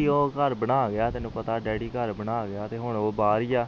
ਆਹੋ ਬਣਾ ਗਿਆ ਤੈਨੂੰ ਪਤਾ ਡੈਡੀ ਘਰ ਬਣਾ ਗਿਆ ਤੇ ਹੁਣ ਉਹ ਭਰ ਏ ਆ